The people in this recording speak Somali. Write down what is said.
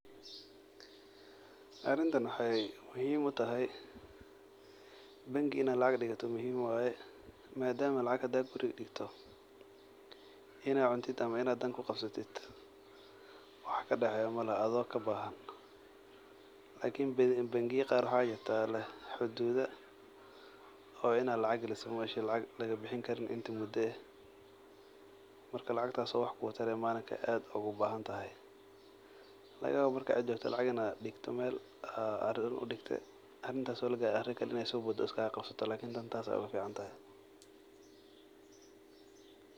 Arintan wexey muhiim utahay bangi in ad lacag digato muhiim waye madama lacag hda guruga digto in ad cuntid iyo wax kuqabsato wax kadexeyo malahan adhigo kabahan lakin bangiya qaar waxa jira leeh xududa oo inad gashatid maogi an lagabixini karin marka lacagtas oo malin wax kutari malinka aad ogubahantahay lagayawa cida lacag digte arin daraded arinti oo lagarin mid kale sobodo iskagaqabsato lakin tan ogaficantahay.